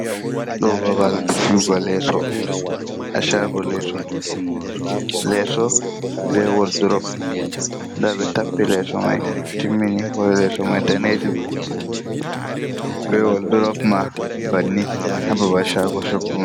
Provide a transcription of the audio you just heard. Ɗo babal fi'ugo leso ha chago leso. Leso be wol durop, nda ɓe tappi leso mai timmini ngo leso mai danejum be wol durop ma banni ha babal Shago Choggumai.